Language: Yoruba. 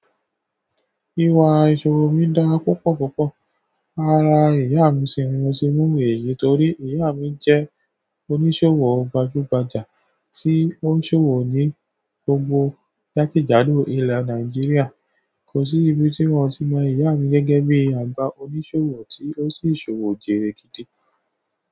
Ìwà ìṣòwo mi dá púpọ̀ púpọ̀. Ara ìyàmi sini mo ti mú owó yí torí ìyàmi jẹ́ oníṣòwò gbajúgbajà tí onsowo ní gbogbo jakejado ilẹ̀ Naijiria. Kò sí ibi tí mo iì mọ ìyá mi gẹ́gẹ́ bí àgbà oníṣòwò tí ó sì ṣòwò jẹ́rẹ́.